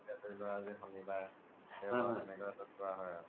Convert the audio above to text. ধৰি লুৱা জে সনিবাৰ দেওবাৰ এনেকুৱা ভিতোৰ্ত জুৱা হয় আৰু